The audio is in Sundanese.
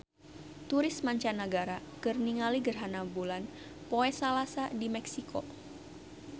Turis mancanagara keur ningali gerhana bulan poe Salasa di Meksiko